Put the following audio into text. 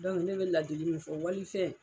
Dɔnku ne bɛ ladili min fɔ wali fɛn